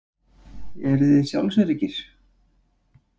Eruði sjálfsöruggir?